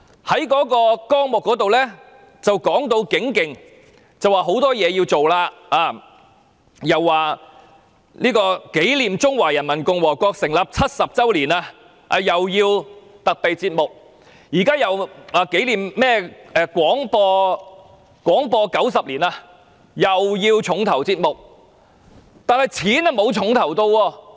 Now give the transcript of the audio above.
有關文件說大有可為，要做很多事情，既要為紀念中華人民共和國成立70周年製作特備節目，又要為紀念香港廣播90周年製作重頭節目，但撥款卻沒有"重頭"。